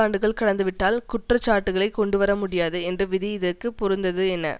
ஆண்டுகள் கடந்துவிட்டால் குற்ற சாட்டுக்களை கொண்டுவரமுடியாது என்ற விதி இதற்கு பொருந்தது என